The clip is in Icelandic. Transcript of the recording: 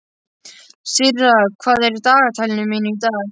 Sirra, hvað er í dagatalinu í dag?